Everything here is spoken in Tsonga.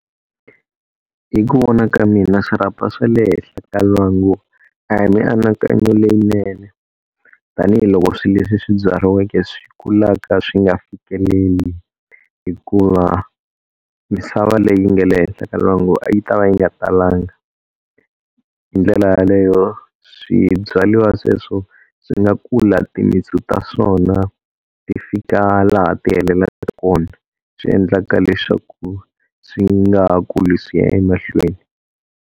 Hi ku vona ka mina swirhapa swa le henhla ka lwangu a hi mianakanyo leyinene, tanihiloko swileswi swi byariweke swi kulaka swi nga fikeleli. Hikuva misava leyi nga le henhla ka lwangu a yi ta va yi nga talanga, hindlela yaleyo swibyariwa sweswo swi nga kula timintsu ta swona ti fika laha ti heleleke kona swiendlaka leswaku swi nga ha kuli ku ya emahlweni.